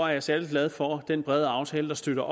jeg særlig glad for den brede aftale der støtter